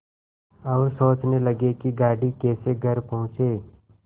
और सोचने लगे कि गाड़ी कैसे घर पहुँचे